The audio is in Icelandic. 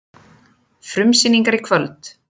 Frumsýningar í kvöld